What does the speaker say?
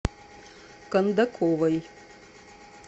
кондаковой